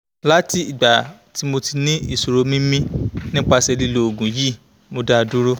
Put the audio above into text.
lati igba ti mo ni isoroni mimi nipase lilo oogun yi mo da duro